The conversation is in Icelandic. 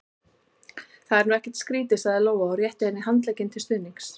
Það er nú ekkert skrítið, sagði Lóa og rétti henni handlegginn til stuðnings.